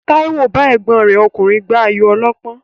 Táíwò bá ẹ̀gbọ́n rán ọkùnrin gbá ayò ọlọ́pọ́n